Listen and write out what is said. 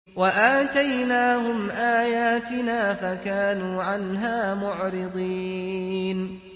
وَآتَيْنَاهُمْ آيَاتِنَا فَكَانُوا عَنْهَا مُعْرِضِينَ